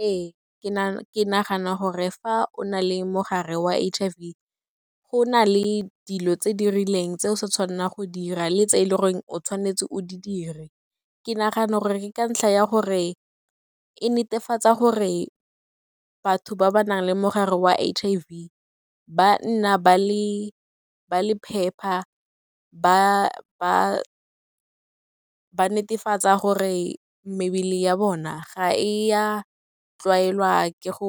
Ee, ke nagana gore fa o na le mogare wa H_I_V, go na le dilo tse di rileng tse o sa tshwannang go dira le tse e le goreng o tshwanetse o di dire. Ke nagana gore ka ntlha ya gore e netefatsa gore batho ba ba nang le mogare wa H_I_V ba nna ba le phepa, ba netefatsa gore mebele ya bona ga e ya tlwaelwa ke go